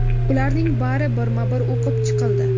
Ularning bari birma-bir o‘qib chiqildi.